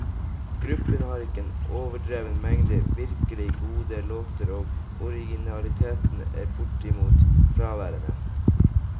Gruppen har ikke en overdreven mengde virkelig gode låter, og originaliteten er bortimot fraværende.